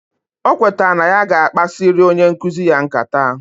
Okweta na ya ga akpasiri onye nkuzi ya nkata,